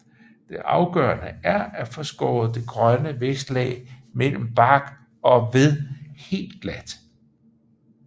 Det afgørende er at få skåret det grønne vækstlag mellem bark og ved helt glat